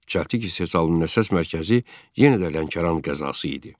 Çəltik istehsalının əsas mərkəzi yenə də Lənkəran qəzası idi.